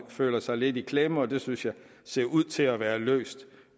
føler sig lidt i klemme og det synes jeg ser ud til at være blevet løst